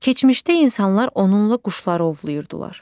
Keçmişdə insanlar onunla quşları ovlayırdılar.